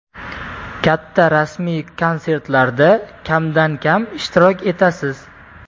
Katta rasmiy konsertlarda kamdan kam ishtirok etasiz.